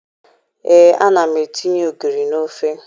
Ee, ana m etinye ogiri n'ofe